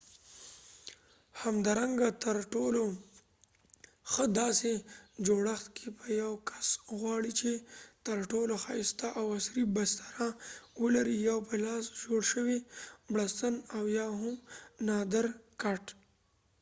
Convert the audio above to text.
همدارنګه تر ټولو ښه داسې جوړښت کې په یو کس وغواړی چ تر ټولو ښایسته او عصری بستره ولري یو په لاس جوړ شوي بړستن او یا هم یو نادر کټ